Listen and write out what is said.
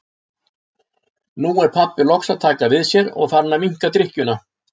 Nú er pabbi loks að taka við sér og farinn að minnka drykkjuna.